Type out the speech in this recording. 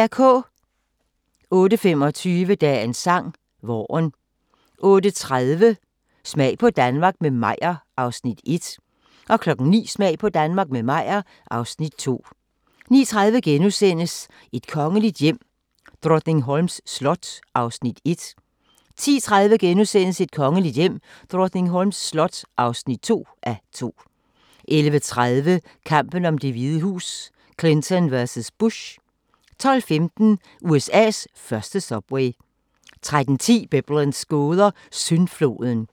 08:25: Dagens sang: Vaaren 08:30: Smag på Danmark – med Meyer (Afs. 1) 09:00: Smag på Danmark – med Meyer (Afs. 2) 09:30: Et kongeligt hjem: Drottningholms slot (1:2)* 10:30: Et kongeligt hjem: Drottningholms slot (2:2)* 11:30: Kampen om Det Hvide Hus: Clinton vs. Bush 12:15: USA's første subway 13:10: Biblens gåder – Syndfloden